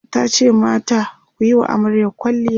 tace mata "kuyi wa amaryar kwalliya!"